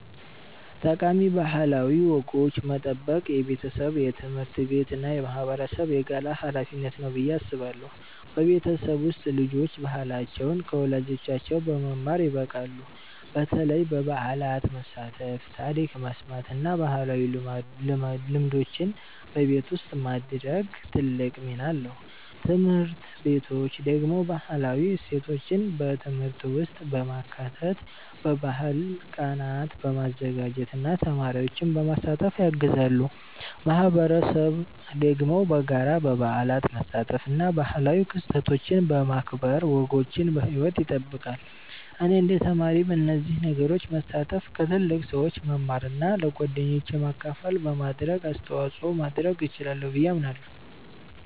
ጠቃሚ ባህላዊ ወጎችን መጠበቅ የቤተሰብ፣ የትምህርት ቤት እና የማህበረሰብ የጋራ ሀላፊነት ነው ብዬ አስባለሁ። በቤተሰብ ውስጥ ልጆች ባህላቸውን ከወላጆቻቸው በመማር ይበቃሉ፣ በተለይ በበዓላት መሳተፍ፣ ታሪክ መስማት እና ባህላዊ ልምዶችን በቤት ውስጥ ማድረግ ትልቅ ሚና አለው። ትምህርት ቤቶች ደግሞ ባህላዊ እሴቶችን በትምህርት ውስጥ በማካተት፣ በባህል ቀናት በማዘጋጀት እና ተማሪዎችን በማሳተፍ ያግዛሉ። ማህበረሰብ ደግሞ በጋራ በበዓላት መሳተፍ እና ባህላዊ ክስተቶችን በማክበር ወጎችን በሕይወት ይጠብቃል። እኔ እንደ ተማሪ በእነዚህ ነገሮች መሳተፍ፣ ከትልቅ ሰዎች መማር እና ለጓደኞቼ ማካፈል በማድረግ አስተዋጽኦ ማድረግ እችላለሁ ብዬ አምናለሁ።